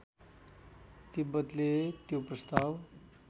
तिब्बतले त्यो प्रस्ताव